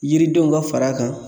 Yiridenw ka fara a kan.